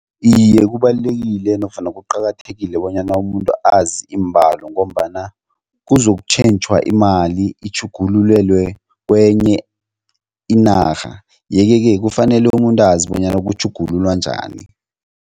Iye, kubalulekile nofana kuqakathekile bonyana umuntu azi iimbalo ngombana kuzokutjhentjhwa imali itjhugululelwe kwenye inarha yeke-ke kufanele umuntu azi bonyana kutjhugululwa njani.